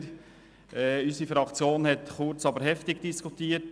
Unsere Fraktion hat den Vorstoss kurz, aber heftig diskutiert.